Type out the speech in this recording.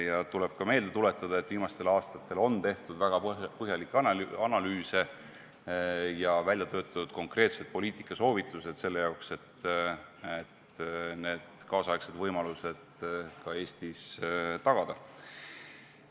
Samuti tuleb meelde tuletada, et viimastel aastatel on tehtud väga põhjalikke analüüse ja töötatud välja konkreetsed poliitikasoovitused, et need tänapäevased võimalused ka Eestis tagada.